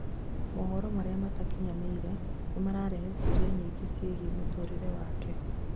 Mohoro maria matakinyanĩire nĩmararehe cĩũria nyingĩ cĩegiĩ mũtũrirĩ wake